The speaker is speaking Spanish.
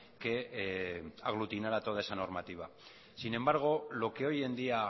que aglutinara toda esa normativa sin embargo lo que hoy en día